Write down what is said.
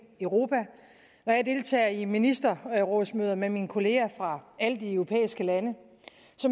europa når jeg deltager i ministerrådsmøder med mine kollegaer fra alle de europæiske lande